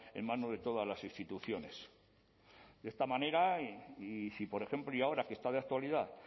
en manos de todas las instituciones de esta manera y si por ejemplo y ahora que está de actualidad